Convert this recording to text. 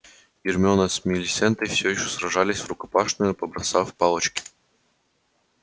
гермиона с милисентой всё ещё сражались правда врукопашную побросав палочки на пол